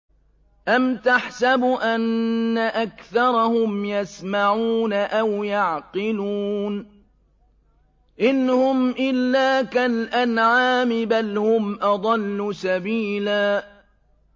أَمْ تَحْسَبُ أَنَّ أَكْثَرَهُمْ يَسْمَعُونَ أَوْ يَعْقِلُونَ ۚ إِنْ هُمْ إِلَّا كَالْأَنْعَامِ ۖ بَلْ هُمْ أَضَلُّ سَبِيلًا